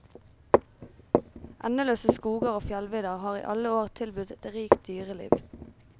Endeløse skoger og fjellvidder har i alle år tilbudt et rikt dyreliv.